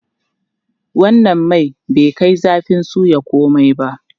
Wannan man bai kai zafin soya komai ba.